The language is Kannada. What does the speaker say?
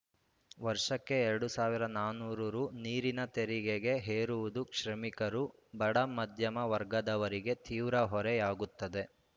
ವರ್ಷಕ್ಕೆ ಎರಡ್ ಸಾವಿರ ನಾಲ್ಕುನೂರು ರು ನೀರಿನ ತೆರಿಗೆ ಹೇರುವುದು ಶ್ರಮಿಕರು ಬಡ ಮಧ್ಯಮ ವರ್ಗದವರಿಗೆ ತೀವ್ರ ಹೊರೆಯಾಗುತ್ತದೆ